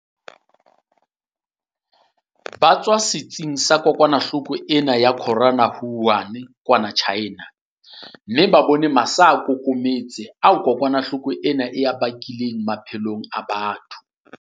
Ba tswa setsiketsing sa kokwana-hloko ena ya corona Wuhan kwana China, mme ba bone masaakokometse ao kokwana hloko ena e a bakileng maphelong a batho.